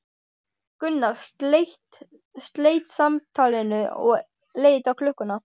Gunnar sleit samtalinu og leit á klukkuna.